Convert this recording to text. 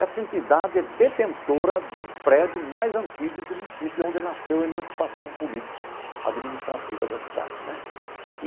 Essa entidade é detentora do prédio mais antigo do município, onde nasceu a emancipação política administrativa da cidade né.